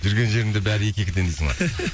жүрген жерімде бәрі екі екіден дейсің ғой